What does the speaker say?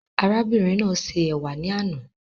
Arábìnrin náà ṣe ẹ̀wà ní àna